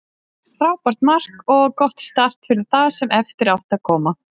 Frábært mark og gott start fyrir það sem eftir átti að koma.